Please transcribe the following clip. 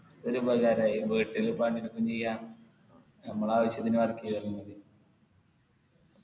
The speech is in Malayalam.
ഒരുപകാരായി വീട്ടില് പണി എടുക്കും ചെയ്യാ നമ്മളാവശ്യത്തിനു work ചെയ്താലും മതി